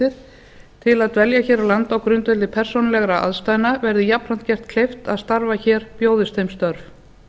heimildir til að dvelja hér á landi á grundvelli persónulegra aðstæðna verði jafnframt gert kleift að starfa hér bjóðist þeim störf